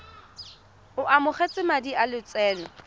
o amogetse madi a lotseno